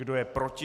Kdo je proti?